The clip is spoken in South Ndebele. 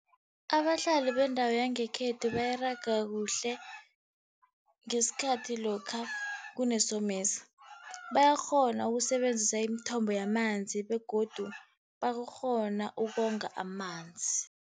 Abahlali bendawo yangekhethu baraga kuhle ngesikhathi lokha kunesomiso. Bayakghona ukusebenzisa imithombo yamanzi begodu bakghona ukonga amanzi.